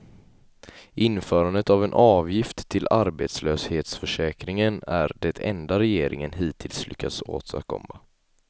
Införandet av en avgift till arbetslöshetsförsäkringen är det enda regeringen hittills lyckats åstadkomma.